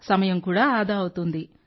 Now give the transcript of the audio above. సమయం కూడా ఆదా అవుతుంది